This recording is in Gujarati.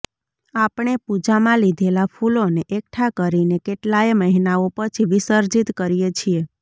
આપણે પૂજામાં લીધેલા ફૂલોને એકઠા કરીને કેટલાયે મહિનાઓ પછી વિસર્જીત કરીએ છીએ